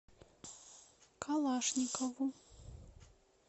калашникову